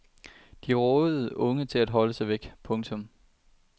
De rådede unge til at holde sig væk. punktum